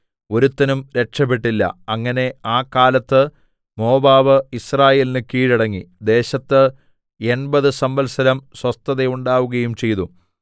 ഒരുത്തനും രക്ഷപെട്ടില്ല അങ്ങനെ ആ കാലത്ത് മോവാബ് യിസ്രായേലിന് കീഴടങ്ങി ദേശത്ത് എൺപത് സംവത്സരം സ്വസ്ഥതയുണ്ടാകുകയും ചെയ്തു